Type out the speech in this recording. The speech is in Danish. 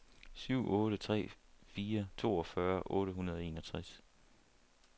syv otte tre fire toogfyrre otte hundrede og enogtres